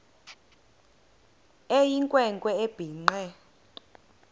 eyinkwe nkwe ebhinqe